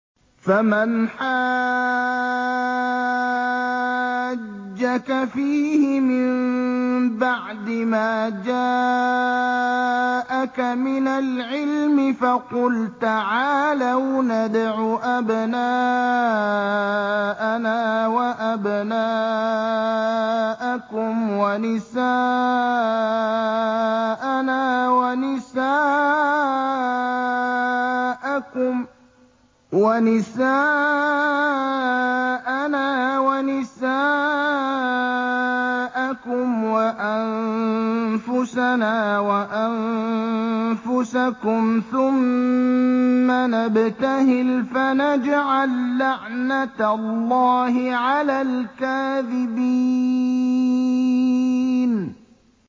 فَمَنْ حَاجَّكَ فِيهِ مِن بَعْدِ مَا جَاءَكَ مِنَ الْعِلْمِ فَقُلْ تَعَالَوْا نَدْعُ أَبْنَاءَنَا وَأَبْنَاءَكُمْ وَنِسَاءَنَا وَنِسَاءَكُمْ وَأَنفُسَنَا وَأَنفُسَكُمْ ثُمَّ نَبْتَهِلْ فَنَجْعَل لَّعْنَتَ اللَّهِ عَلَى الْكَاذِبِينَ